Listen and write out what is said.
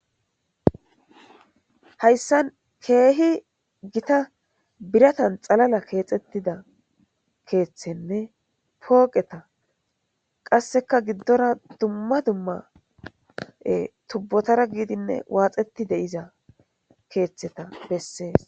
Hayssan keehi giitta biratani xallala kexettida keththenne pooqetta qasekka giddora dumma dumma tuubotara gididinne waaxettidi de'iza kethttheta besses